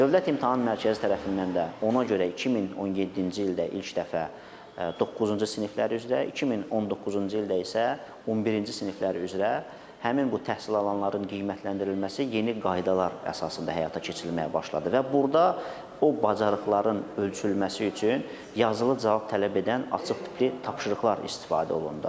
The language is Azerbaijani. Dövlət İmtahan Mərkəzi tərəfindən də ona görə 2017-ci ildə ilk dəfə doqquzuncu siniflər üzrə, 2019-cu ildə isə 11-ci siniflər üzrə həmin bu təhsil alanların qiymətləndirilməsi yeni qaydalar əsasında həyata keçirilməyə başladı və burda o bacarıqların ölçülməsi üçün yazılı cavab tələb edən açıq tipli tapşırıqlar istifadə olundu.